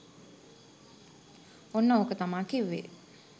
ඔන්න ඕක තමා කිව්වේ